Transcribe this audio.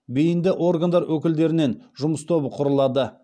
бейінді органдар өкілдерінен жұмыс тобы құрылады